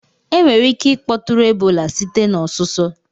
Enwere ike ịkpọtụrụ Ebola site na ọsụsọ